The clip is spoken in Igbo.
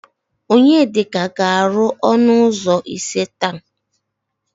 Onyedika ga-arụ ọnụ ụzọ ise taa.